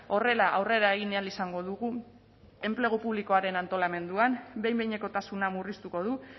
horrela aurrera egin ahal izango dugu enplegu publikoaren antolamenduan behin behinekotasuna murriztuko du